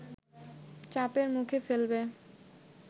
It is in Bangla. চাপের মুখে ফেলবে